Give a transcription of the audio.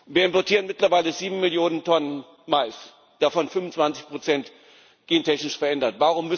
Wir importieren mittlerweile sieben Millionen Tonnen Mais, davon 25 gentechnisch verändert.